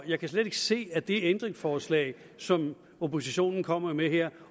jeg kan slet ikke se at det ændringsforslag som oppositionen kommer med her